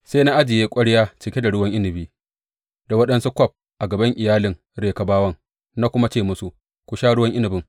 Sai na ajiye ƙwarya cike da ruwan inabi da waɗansu kwaf a gaban iyalin Rekabawan na kuma ce musu, Ku sha ruwan inabin.